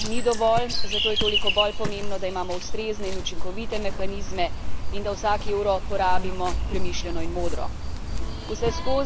Vemo, da denarja ni dovolj, zato je toliko bolj pomembno, da imamo ustrezne in učinkovite mehanizme in da vsak evro porabimo premišljeno in modro.